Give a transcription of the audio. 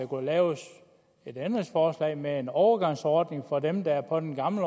kunne laves et ændringsforslag med en overgangsordning for dem der er på den gamle